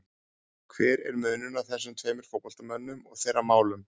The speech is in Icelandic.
Hver er munurinn á þessum tveimur fótboltamönnum og þeirra málum?